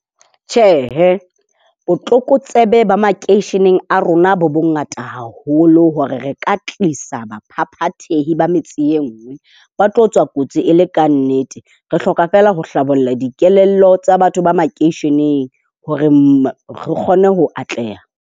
Tjhe, botlokotsebe ba makeisheneng a rona bo bongata haholo hore re ka tlisa baphaphathehi ba metse e nngwe. Ba tlo tswa kotsi e le ka nnete. Re hloka fela ho hlabolla dikelello tsa batho ba makeisheneng hore re kgone ho atleha.